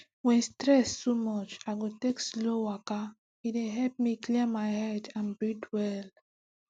when stress too much i go take slow waka e dey help me clear my head and breathe well